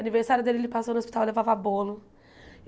Aniversário dele, ele passou no hospital, eu levava bolo.